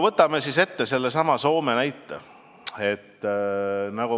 Võtame sellesama Soome näite.